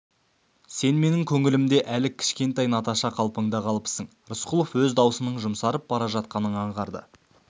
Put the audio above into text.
сен менің көңілімде әлі кішкентай наташа қалпыңда қалыпсың рысқұлов өз даусының жұмсарып бара жатқанын аңғарды